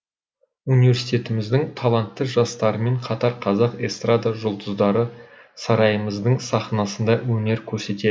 университетіміздің талантты жастарымен қатар қазақ эстрада жұлдыздары сарайымыздың сахнасында өнер көрсетеді